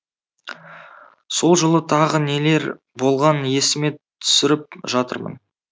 сол жылы тағы нелер болғанын есіме түсіріп жатырмын